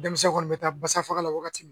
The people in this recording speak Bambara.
Denmisɛn kɔni bɛ taa basa faga la wagati min